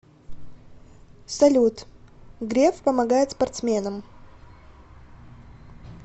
салют греф помогает спортсменам